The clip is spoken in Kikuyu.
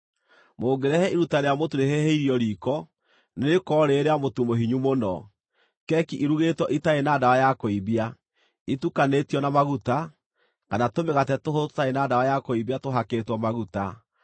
“ ‘Mũngĩrehe iruta rĩa mũtu rĩhĩhĩirio riiko, nĩrĩkorwo rĩrĩ rĩa mũtu mũhinyu mũno, keki irugĩtwo itarĩ na ndawa ya kũimbia, itukanĩtio na maguta, kana tũmĩgate tũhũthũ tũtarĩ na ndawa ya kũimbia tũhakĩtwo maguta.